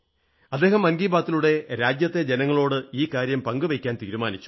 അങ്ങ് മൻ കീ ബാത്തിലൂടെ രാജ്യത്തെ ജനങ്ങളോട് ഈ കാര്യം പങ്കുവയ്ക്കാൻ തീരുമാനിച്ചു